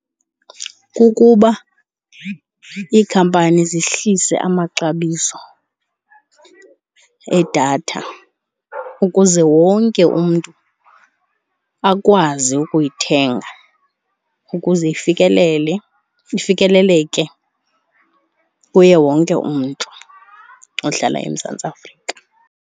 Kukuba iikhampani ziphuhlise amaxabiso edatha ukuze wonke umntu akwazi ukuyithenga ukuze ifikelele, ifikeleleke kuye wonke umntu ohlala eMzantsi Afrika.